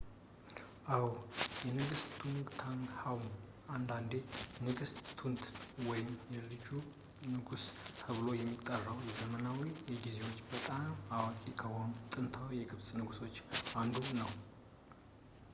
አዎ ንጉስ ቱታንክሃሙን አንዳንዴ ንጉስ ቱት ወይም ልጁ ንጉስ ተብሎ የሚጠራው በዘመናዊ ጊዜዎች በጣም ታዋቂ ከሆኑት ጥንታዊ የግብጽ ንጉሶች አንዱ ነው